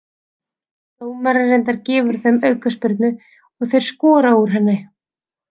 Dómarinn reyndar gefur þeim aukaspyrnu og þeir skora úr henni.